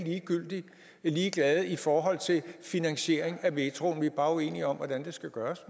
er ligeglade i forhold til finansiering af metroen vi er måske bare uenige om hvordan det skal gøres